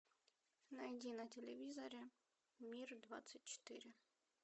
найди на телевизоре мир двадцать четыре